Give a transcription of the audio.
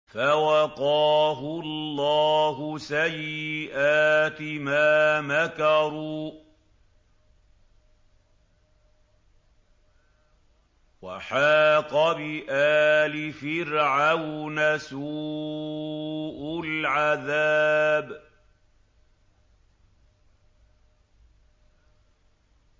فَوَقَاهُ اللَّهُ سَيِّئَاتِ مَا مَكَرُوا ۖ وَحَاقَ بِآلِ فِرْعَوْنَ سُوءُ الْعَذَابِ